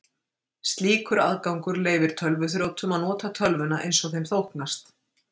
Slíkur aðgangur leyfir tölvuþrjótum að nota tölvuna eins þeim þóknast.